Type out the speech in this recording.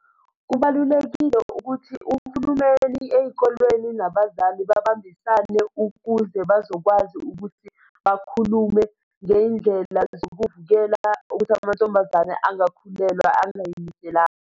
Kubalulekile ukuthi uhulumeni ey'kolweni nabazali babambisane ukuze bazokwazi ukuthi bakhulume ngey'ndlela zokuvikela ukuthi amantombazane angakhulelwa angiy'lindelanga.